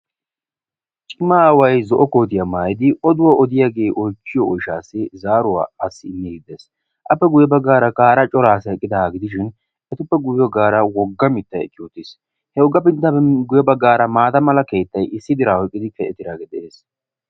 cima aawai zo''o kootiyaa maayidi oduwaa odiyaagee oychchiyo oishaassi zaaruwaa assi immi giddees appe guyye baggaara kaara coraassi eqqida gidishin etuppe guyye aggaara wogga mittay ekkiyootiis he ogga binttami guye baggaara maata mala keettay issi diraan oyqqidi kaqetidaagee de'ees